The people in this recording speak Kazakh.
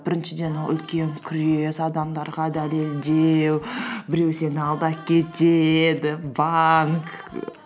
біріншіден ол үлкен күрес адамдарға дәлелдеу біреу сені алдап кетеді банк